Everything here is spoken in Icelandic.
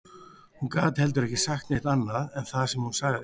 Hún gat heldur ekki sagt neitt annað en það sem hún sagði